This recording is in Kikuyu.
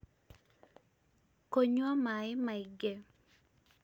kũnyua maĩ maingĩ